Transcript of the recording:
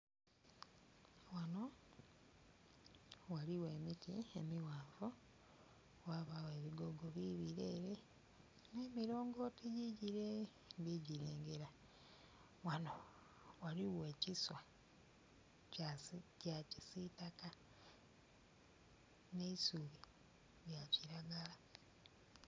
Ghano ghaligho emiti emighanvu ghabagho ebigogo bibire ere nhe milongoti giigire ndhigilengera. Ghano ghaligho ekiswa kya kisitaka n'eisubi lya kiragala.